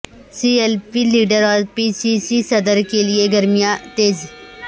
سی L P leader اور P C C صدر کیلئے سرگرمیاں تیز